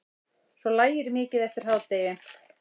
Svo lægir mikið eftir hádegi.